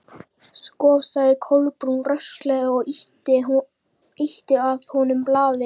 Sko sagði Kolbrún rösklega og ýtti að honum blaði.